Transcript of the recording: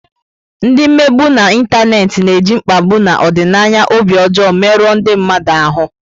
Ndị mmegbu n'Ịntanet na-eji mkpagbu na ọdịnaya obi ọjọọ merụọ ndị mmadụ ahụ.